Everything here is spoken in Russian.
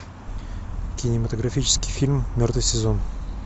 кинематографический фильм мертвый сезон